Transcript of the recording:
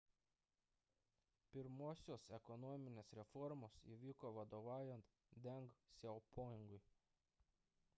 pirmosios ekonominės reformos įvyko vadovaujant deng siaopingui